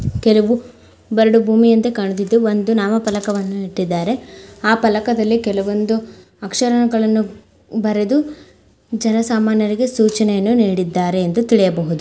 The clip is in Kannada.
ಕೆಲವು ಬರಡು ಭೂಮಿಯಂತೆ ಕಾಣುತ್ತಿದೆ ಒಂದು ನಾಮಫಲಕವನ್ನುಇಟ್ಟಿದ್ದಾರೆ ಆ ಫಲಕದಲ್ಲಿ ಕೆಲವೊಂದು ಅಕ್ಷರಗಳನ್ನು ಬರೆದು ಜನಸಾಮಾನ್ಯರಿಗೆ ಸೂಚನೆಯನ್ನು ನೀಡಿದ್ದಾರೆ ಎಂದು ತಿಳಿಯಬಹುದು .